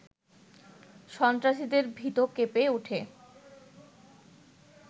সন্ত্রাসীদের ভিত কেঁপে ওঠে